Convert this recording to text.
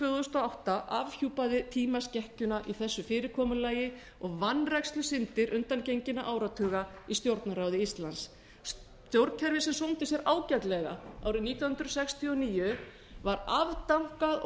þúsund og átta afhjúpaði tímaskekkjuna í þessu fyrirkomulagi og vanrækslusyndir undangenginna áratuga í stjórnarráði íslands stjórnkerfi sem sómdi sér ágætlega árið nítján hundruð sextíu og níu var afdankað og